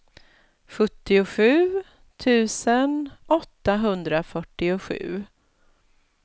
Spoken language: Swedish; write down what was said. sjuttiosju tusen åttahundrafyrtiosju